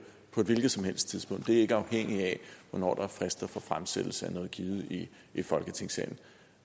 på et hvilket som helst tidspunkt det er ikke afhængigt af hvornår der er frister for fremsættelse af noget givet i i folketingssalen